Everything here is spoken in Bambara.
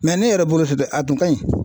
ne yɛrɛ bolo a kun kaɲi